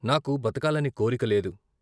నాకు బతకాలనే కోరిక లేదు.